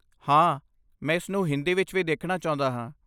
ਹਾਂ, ਮੈਂ ਇਸਨੂੰ ਹਿੰਦੀ ਵਿੱਚ ਵੀ ਦੇਖਣਾ ਚਾਹੁੰਦਾ ਹਾਂ।